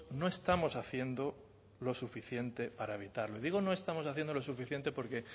no estamos haciendo lo suficiente para evitarlo y digo no estamos haciendo lo suficiente porque